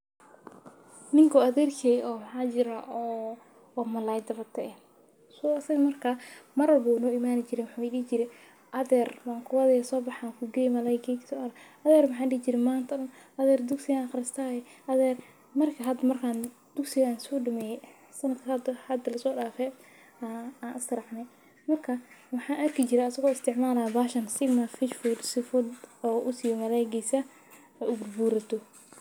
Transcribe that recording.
Niko adherkey oo waxaa jira oo malalay dawato eh so marka mar walbo wu noimani jire wuxuu idihi jire adher sobax an kugeye malayga adher maxan dihi jire dugsi ayan aqristaye adher markan hada dugsi ayan sodameye sanadka hada laso dafe ayan isracne marka waxan arki jire aso istimalayo sigma fish food sifa u usiyo malalaygisa ee u bur burato.